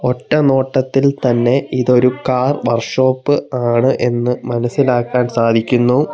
ഒറ്റ നോട്ടത്തിൽ തന്നെ ഇതൊരു കാർ വർക്ക്ഷോപ്പ് ആണ് എന്ന് മനസിലാക്കാൻ സാധിക്കുന്നു.